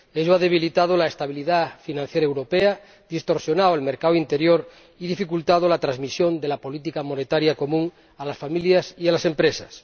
Ello ha debilitado la estabilidad financiera europea, ha distorsionado el mercado interior y ha dificultado la transmisión de la política monetaria común a las familias y a las empresas.